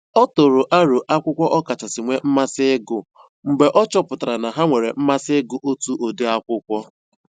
Ọ tụrụ aro akwụkwọ ọ kachasị nwee mmasị ịgụ mgbe ọ chọpụtara na ha nwere mmasị ịgụ otu ụdị akwụkwọ